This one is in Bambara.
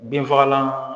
Binfagalan